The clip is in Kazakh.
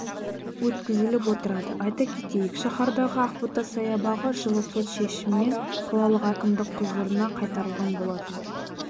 өткізіліп отырады айта кетейік шаһардағы ақбота саябағы жылы сот шешімімен қалалық әкімдік құзырына қайтарылған болатын